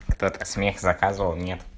кто то смех заказывал нет